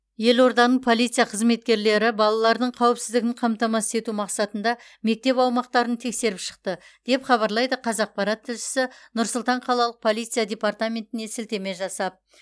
елорданың полиция қызметкерлері балалардың қауіпсіздігін қамтамасыз ету мақсатында мектеп аумақтарын тексеріп шықты деп хабарлайды қазақпарат тілшісі нұр сұлтан қалалық полиция департаментіне сілтеме жасап